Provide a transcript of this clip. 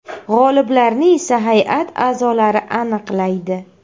G‘oliblarni esa hay’at a’zolari aniqlaydi.